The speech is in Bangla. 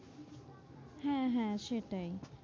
হ্যাঁ, হ্যাঁ সেটাই